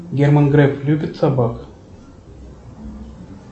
герман греф любит собак